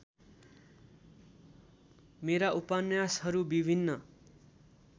मेरा उपन्यासहरू विभिन्न